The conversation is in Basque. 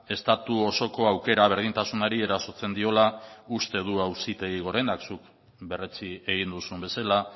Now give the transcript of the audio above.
estatu osoko aukera berdintasunari erasotzen diola uste du auzitegi gorenak zuk berretsi egin duzun bezala